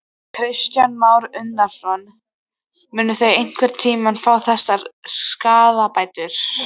Kristján Már Unnarsson: Munu þau einhvern tímann fá þessar skaðabætur?